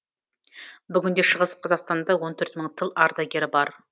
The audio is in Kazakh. бүгінде шығыс қазақстанда он төрт мың тыл ардагері бар